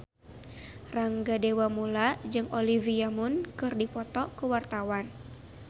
Rangga Dewamoela jeung Olivia Munn keur dipoto ku wartawan